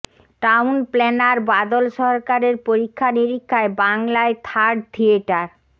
town planner Badal সরকারের পরীক্ষা নিরীক্ষায় বাংলায় থার্ড থিয়েটার